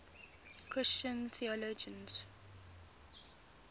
christian theologians